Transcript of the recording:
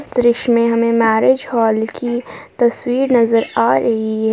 दृश्य में हमे मैरेज हॉल की तस्वीर नजर आ रही--